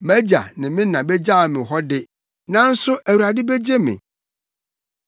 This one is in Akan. Mʼagya ne me na begyaw me hɔ de, nanso Awurade begye me.